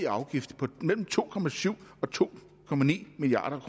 afgift på mellem to og to milliard